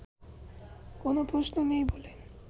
কোনও প্রশ্ন নেই বলে